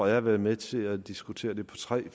jeg har været med til at diskutere på tre